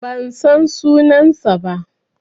Ban san sunansa ba.